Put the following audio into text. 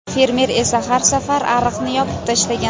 Fermer esa har safar ariqni yopib tashlagan.